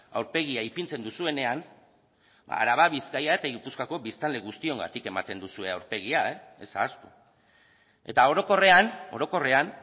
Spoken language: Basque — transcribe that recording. aurpegia ipintzen duzuenean araba bizkaia eta gipuzkoako biztanle guztiongatik ematen duzue aurpegia ez ahaztu eta orokorrean orokorrean